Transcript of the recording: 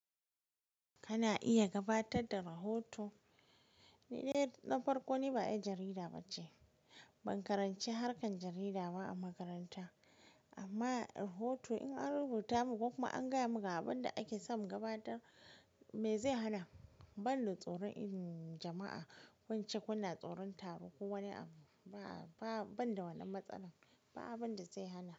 Kana iya gabatar da rahoto. Ni dai na farko, ni ba ƴar jarida ba ce. Ban karanci harkan jarida ba a makaranta amma rahoto in an rubuta mun, ko kuma an gaya mun abin da ake so mu gabatar me zai hana? Banda tsoron in jama'a ko ince ko ina tsoron taro ko wani abu. Ba, ba, banda wannan matsalar ba abun da zai hana.